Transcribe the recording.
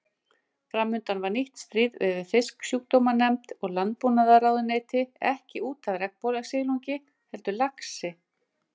Framundan var nýtt stríð við Fisksjúkdómanefnd og Landbúnaðarráðuneyti ekki út af regnbogasilungi heldur laxi.